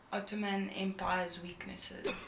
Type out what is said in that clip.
ottoman empire's weaknesses